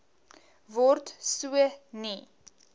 word so nie